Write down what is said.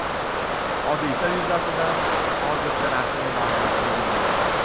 Hodisa yuzasidan hozircha rasmiy ma’lumot berilmagan.